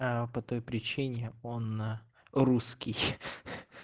а по той причине он русский